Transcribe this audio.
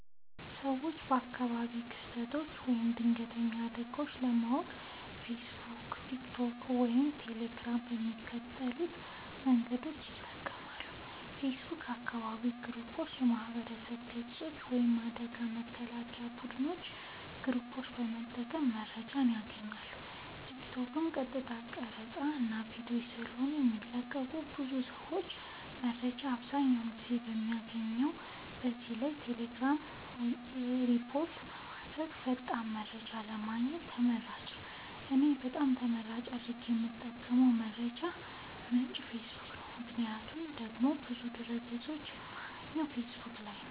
ሰወች አካባቢያዊ ክስተቶች ወይም ድንገተኛ አደጋወች ለማወቅ ፌሰቡክ ቲክቶክ ወይም ቴሌግራም በሚከተሉት መንገዶች ይጠቀማሉ ፌሰቡክ :- የአካባቢ ግሩፖች የማህበረሰብ ገፆች ወይም የአደጋ መከላከያ ቡድኖች ግሩፕ በመጠቀም መረጃወችን ያገኛሉ ቲክቶክ :- የቀጥታ ቀረፃወች እና ቪዲዮወች ስለሆነ የሚለቀቁበት ብዙ ሰወች መረጃወችን አብዛኛውን ጊዜ የሚያገኙት ከዚህ ላይ ነዉ ቴሌግራም :-መረጃ ወድያውኑ ሪፖርት ስለሚደረግበት ፈጣን መረጃን ለማግኘት ተመራጭ ነዉ። እኔ በጣም ተመራጭ አድርጌ የምጠቀምበት የመረጃ ምንጭ ፌሰቡክ ነዉ ምክንያቱም ደግሞ ብዙ ድህረ ገፆችን የማገኘው ፌሰቡክ ላይ ነዉ